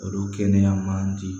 Olu kɛnɛya man di